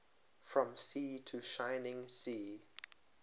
from sea to shining sea